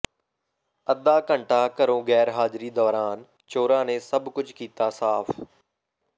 ਅੱਧਾ ਘੰਟਾ ਘਰੋਂ ਗੈਰਹਾਜਿਰੀ ਦੌਰਾਨ ਚੋਰਾਂ ਨੇ ਸਭ ਕੁੱਝ ਕੀਤਾ ਸਾਫ਼